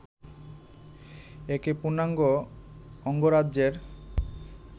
একে পূর্ণাঙ্গ অঙ্গরাজ্যের